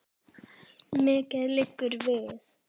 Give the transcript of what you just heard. Mikið liggur við!